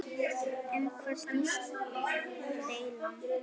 Um hvað snýst deilan?